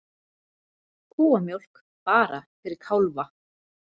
Kúamjólk bara fyrir kálfa